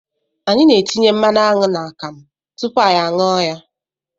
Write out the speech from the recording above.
Anyị na-etinye mmanụ aṅụ n'akamụ tupu anyị a ṅụọ ya.